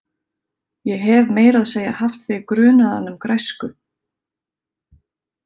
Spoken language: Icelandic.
Ég hef meira að segja haft þig grunaðan um græsku.